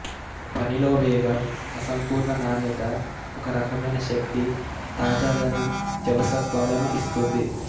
పనిలో వేగం అసంపూర్ణ నాణ్యత ఒక రకమైన శక్తి తాజాదనం జవసత్వాలను ఇస్తుంది